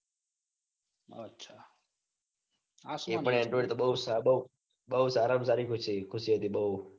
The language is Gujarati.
અચ્છા આ સુ એ પણ android બૌ સાદો બૌ સારં સારી ખુશી ખુશી હતું. બૌ